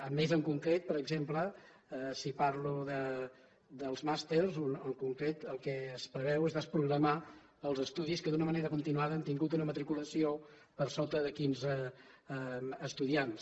a més en concret per exemple si parlo dels màsters en concret el que es preveu és desprogramar els estudis que d’una manera continuada han tingut una matriculació per sota de quinze estudiants